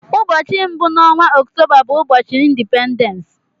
Ụbọchị mbụ n'onwa Ọktoba bu ubochi Indipendens.